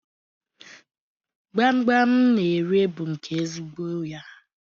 Gbamgbam m na-ere bụ nke ezigbo ya.